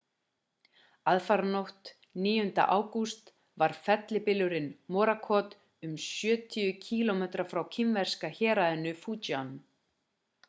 aðfaranótt 9. ágúst var fellibylurinn morakot um sjötíu kílómetra frá kínverska héraðinu fujian